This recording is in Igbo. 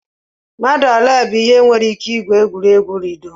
Mmadụ olee bụ ihe nwere ike igwu egwuregwu ludo?